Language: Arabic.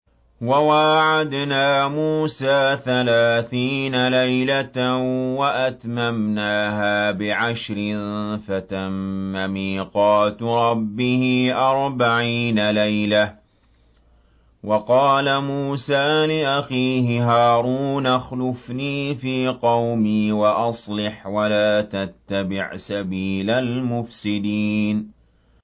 ۞ وَوَاعَدْنَا مُوسَىٰ ثَلَاثِينَ لَيْلَةً وَأَتْمَمْنَاهَا بِعَشْرٍ فَتَمَّ مِيقَاتُ رَبِّهِ أَرْبَعِينَ لَيْلَةً ۚ وَقَالَ مُوسَىٰ لِأَخِيهِ هَارُونَ اخْلُفْنِي فِي قَوْمِي وَأَصْلِحْ وَلَا تَتَّبِعْ سَبِيلَ الْمُفْسِدِينَ